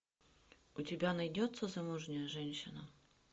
у тебя найдется замужняя женщина